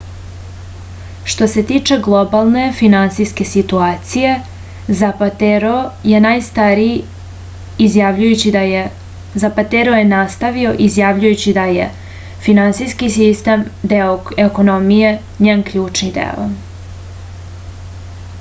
što se tiče globalne finansijske situacije zapatero je nastavio izjavljujući da je finansijski sistem deo ekonomije njen ključni deo